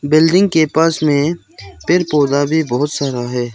Building के पास में पेड़ पौधा भी बहोत सारा है।